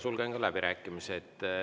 Sulgen läbirääkimised.